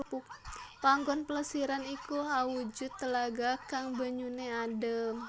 Panggon Plesiran iki awujud telaga kang banyuné adem